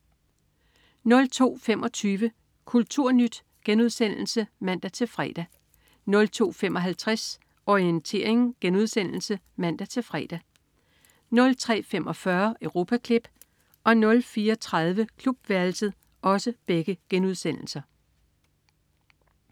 02.25 Kulturnyt* (man-fre) 02.55 Orientering* (man-fre) 03.45 Europaklip* 04.30 Klubværelset*